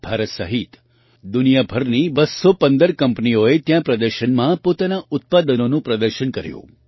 ભારત સહિત દુનિયાભરની 215 કંપનીઓએ ત્યાં પ્રદર્શનમાં પોતાનાં ઉત્પાદનોનું પ્રદર્શન કર્યું